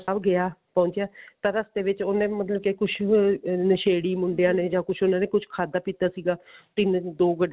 ਗਿਆ ਪਹੁੰਚਿਆ ਤਾਂ ਰਸਤੇ ਵਿੱਚ ਉਹਨੇ ਮਤਲਬ ਕਿ ਕੁੱਝ ਨਸ਼ੇੜੀ ਮੁੰਡਿਆਂ ਨੇ ਜਾਂ ਕੁੱਝ ਉਹਨਾ ਨੇ ਖਾਧਾ ਪੀਤਾ ਸੀਗਾ ਤਿੰਨ ਦੋ ਗੱਡੀਆਂ